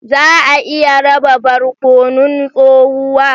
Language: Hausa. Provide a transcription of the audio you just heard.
Za a iya raba barkonon tsohuwa?